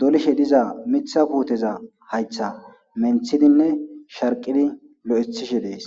dolishe diza mitha kuuteza haytha menthidinne sharqidi lo7ethishe dees